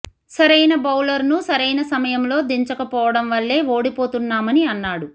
సరైన బౌలర్ ను సరైన సమయంలో దించకపోవడం వల్లే ఓడిపోతున్నామని అన్నాడు